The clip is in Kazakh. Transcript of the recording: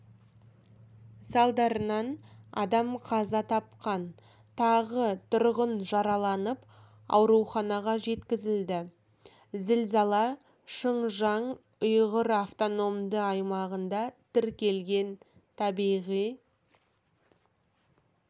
салдарынан адам қаза тапқан тағы тұрғын жараланып ауруханаға жеткізілді зілзала шыңжаң ұйғыр автономды аймағында тіркелген табиғи